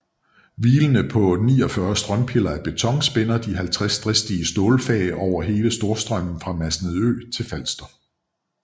Hvilende på 49 strømpiller af beton spænder de 50 dristige stålfag over hele Storstrømmen fra Masnedø til Falster